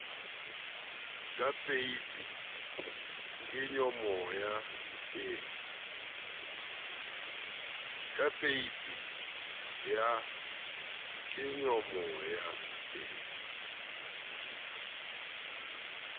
ka peipi ya kenyomoya e